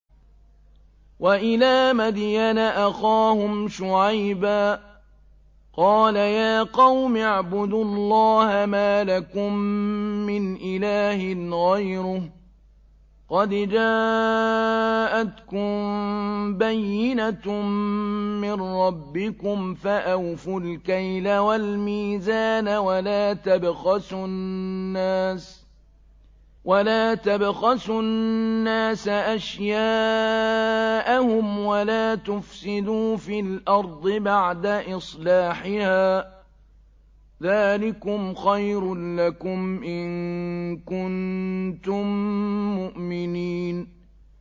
وَإِلَىٰ مَدْيَنَ أَخَاهُمْ شُعَيْبًا ۗ قَالَ يَا قَوْمِ اعْبُدُوا اللَّهَ مَا لَكُم مِّنْ إِلَٰهٍ غَيْرُهُ ۖ قَدْ جَاءَتْكُم بَيِّنَةٌ مِّن رَّبِّكُمْ ۖ فَأَوْفُوا الْكَيْلَ وَالْمِيزَانَ وَلَا تَبْخَسُوا النَّاسَ أَشْيَاءَهُمْ وَلَا تُفْسِدُوا فِي الْأَرْضِ بَعْدَ إِصْلَاحِهَا ۚ ذَٰلِكُمْ خَيْرٌ لَّكُمْ إِن كُنتُم مُّؤْمِنِينَ